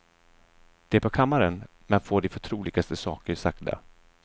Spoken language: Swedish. Det är på kammaren man får de förtroligaste saker sagda.